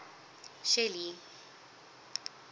shelly